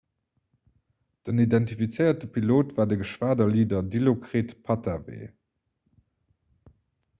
den identifizéierte pilot war de geschwaderleader dilokrit pattavee